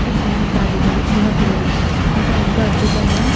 ఇవి చిన్న గాడిదలు. చిన్నపిల్లలు ఇంకా ఎంతో అద్భుతంగా --